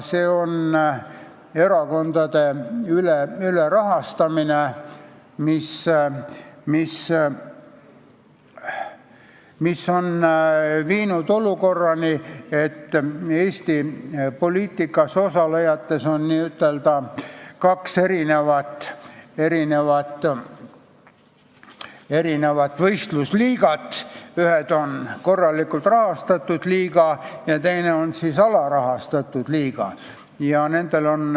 See on erakondade ülerahastamine, mis on viinud olukorrani, et Eesti poliitikas osalejate hulgas on n-ö kaks võistlusliigat, üks on korralikult rahastatud liiga ja teine on alarahastatud liiga.